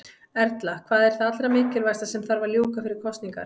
Erla: Hvað er það allra mikilvægasta sem að þarf að ljúka fyrir kosningar?